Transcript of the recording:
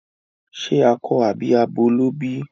Ṣe akọ àbí abo ló bí?